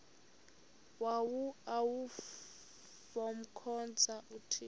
bawo avemkhonza uthixo